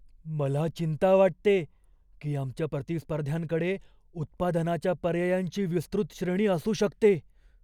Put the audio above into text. मला चिंता वाटते की आमच्या प्रतिस्पर्ध्यांकडे उत्पादनाच्या पर्यायांची विस्तृत श्रेणी असू शकते.